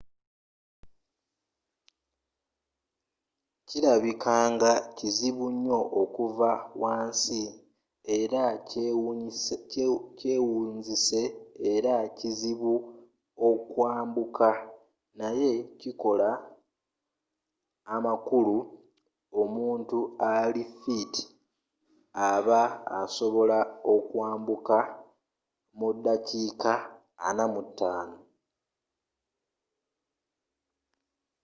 kilabikanga kizibunnyo okuva wansi era kyewunzise era kizibu okwambuka naye kikola amakulu omuntu ali fiiti aba asobola okwambukawo mudakiika 45